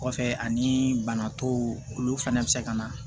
Kɔfɛ ani bana tɔw olu fɛnɛ bɛ se ka na